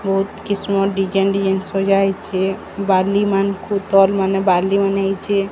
ବହୁତ୍ କିସ୍ମ design design ସଜାହେଇଛେ ବାଲି ମାନ୍ ଖୁତର୍ ମାନେ ବାଲି ମାନେ ହେଇଚେ।